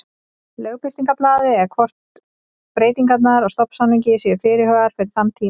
Lögbirtingablaði eða hvort breytingar á stofnsamningi séu fyrirhugaðar fyrir þann tíma.